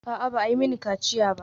A'a, ba a yi mini kaciya ba.